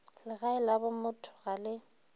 legae la bomotho ga le